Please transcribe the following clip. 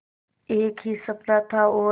एक ही सपना था और